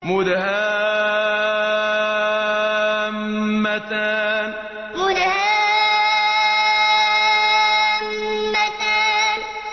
مُدْهَامَّتَانِ مُدْهَامَّتَانِ